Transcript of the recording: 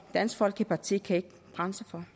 og dansk folkeparti kan ikke bremse den